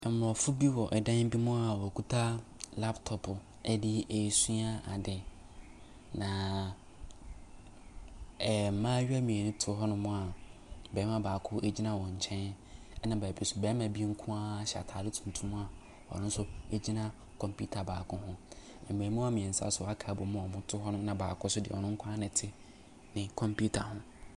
Aborɔfo bi wɔ dan bi mu a wokita laptopo de resua ade, na mmaayewa mmienu te hɔnom a barima baako gyina wɔn nkyɛn, na beebi nso barima bi nko ara ahyɛ ataade tuntum a ɔno nso gyina kɔmpiita baako ho. Mmaamua mmiɛnsa nso aka abɔm a wɔte hɔnom na baako nso de, ɔno nko ara na ɔte ne kɔmpiita ho.